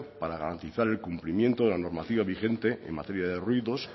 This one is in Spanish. para garantizar el cumplimiento de la normativa vigente en materia de ruidos